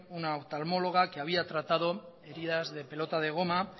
una oftalmóloga que había tratado heridas de pelota de goma